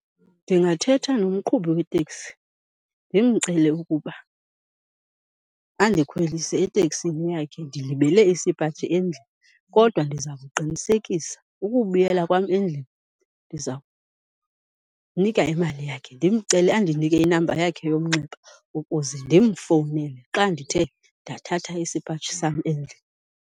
Ndingathetha nomqhubi wetekisi ndimcele ukuba andikhwelise etekisini yakhe ndilibele isipaji endlini, kodwa ndiza kuqinisekisa ukubuyela kwam endlini ndiza kumnika imali yakhe. Ndimcele andinike inamba yakhe yomnxeba ukuze ndimfowunele xa ndithe ndathatha isipaji sam endlini.